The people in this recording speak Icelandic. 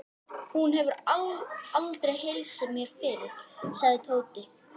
Hún hefur aldrei heilsað mér fyrr, sagði Tóti.